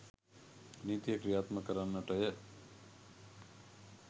නීතිය ක්‍රියාත්මක කරන්නටය.